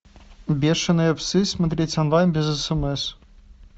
бешеные псы смотреть онлайн без смс